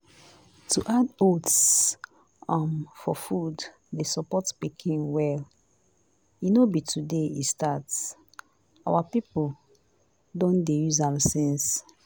to add oats um for food dey support pikin well. e no be today e start. our people don dey use am since